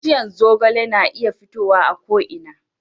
bishiyan zogale na iya fitowa a ko ina